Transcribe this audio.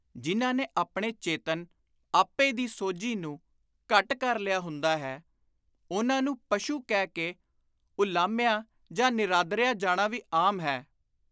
ਜਿਨ੍ਹਾਂ ਨੇ ਆਪਣੇ ਚੇਤਨ ਆਪੇ ਦੀ ਸੋਝੀ ਨੂੰ ਘੱਟ ਕਰ ਲਿਆ ਹੁੰਦਾ ਹੈ, ਉਨ੍ਹਾਂ ਨੂੰ ਪਸ਼ੂ ਕਹਿ ਕੇ ਉਲਾਹਮਿਆ ਜਾਂ ਨਿਰਾਦਰਿਆ ਜਾਣਾ ਵੀ ਆਮ ਹੈ।